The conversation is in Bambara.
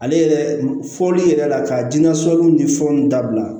Ale yɛrɛ fɔli yɛrɛ la ka di n ka sotigiw ni fɛnw dabila